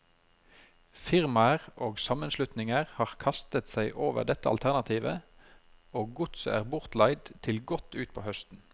Firmaer og sammenslutninger har kastet seg over dette alternativet, og godset er bortleid til godt utpå høsten.